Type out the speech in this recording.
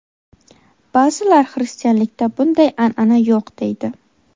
Ba’zilar xristianlikda bunday an’ana yo‘q deydi.